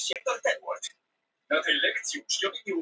Ekkert lát á flóðum